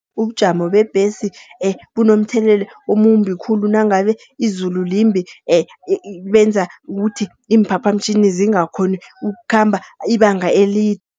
Ubujamo bebhesi bunomthelelo omumbi khulu nangabe izulu limbi, benza ukuthi iimphaphamtjhini zingakghoni ukukhamba ibanga